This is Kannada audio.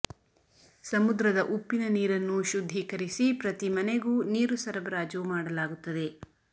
ಸಮುದ್ರದ ಉಪ್ಪಿನ ನೀರನ್ನು ಶುದ್ಧೀಕರಿಸಿ ಪ್ರತಿ ಮನೆಗೂ ನೀರು ಸರಬರಾಜು ಮಾಡಲಾಗುತ್ತದೆ